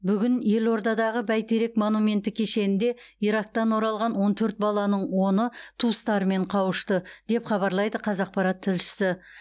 бүгін елордадағы бәйтерек монументі кешенінде ирактан оралған он төрт баланың оны туыстарымен қауышты деп хабарлайды қазақпарат тілшісі